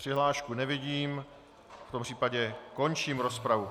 Přihlášku nevidím, v tom případě končím rozpravu.